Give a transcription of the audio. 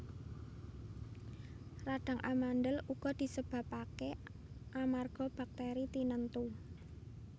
Radhang amandhel uga disebabaké amarga baktèri tinentu